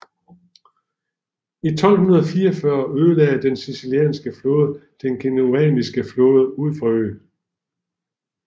I 1241 ødelagde den sicilianske flåde den Genovaianske flåde ud for øen